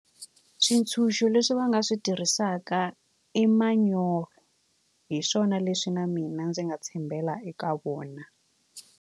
Swintshuxo leswi va nga swi tirhisaka i manyoro hi swona leswi na mina ndzi nga tshembela eka wona.